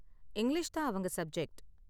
English தான் அவங்க subject.